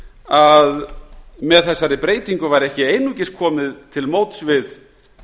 að með þessari breytingu væri ekki einungis komið til móts við